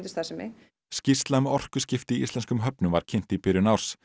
starfsemi skýrsla um orkuskipti í íslenskum höfnum var kynnt í byrjun árs